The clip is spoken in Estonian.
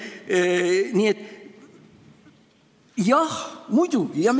Nii et jah, muidugi!